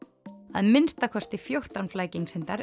að minnsta kosti fjórtán